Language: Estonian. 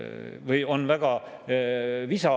On võrreldud seda ka eelmise majanduskriisiga aastatel 2008–2009.